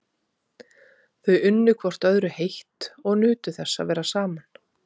Þau unnu hvort öðru heitt og nutu þess að vera saman.